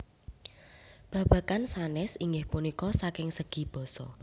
Babagan sanés inggih punika saking segi basa